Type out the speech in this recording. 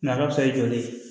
joli